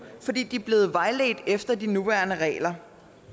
fordi de er blevet vejledt efter de nuværende regler